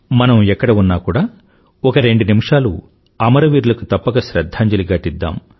మనం ఎక్కడ ఉన్నా ఒక కూడా రెండు నిమిషాలు అమరవీరులకి తప్పక శ్రధ్ధాంజలి ఘటిద్దాం